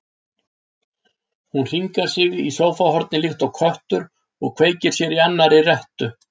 Hún hringar sig í sófahornið líkt og köttur og kveikir sér í annarri rettu.